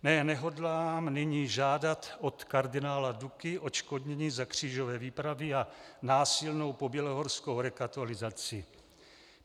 Ne, nehodlám nyní žádat od kardinála Duky odškodnění za křížové výpravy a násilnou pobělohorskou rekatolizaci.